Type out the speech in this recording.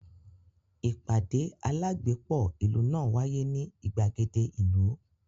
Ìpàdé alágbépọ̀ ìlú náà wáyé ní ìgbàgede ìlú